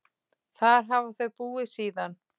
Þar hafa þau búið síðan.